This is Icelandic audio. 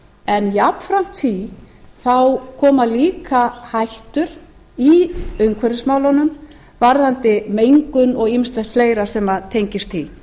en jafnframt því koma líka hættur í umhverfismálunum varðandi mengun og ýmislegt fleira sem tengist